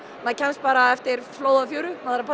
maður kemst bara eftir flóði og fjöru